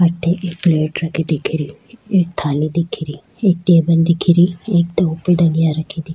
अठे एक पेलेट रखी दिखे री एक थाली दिखे री एक टेबल दिखे री --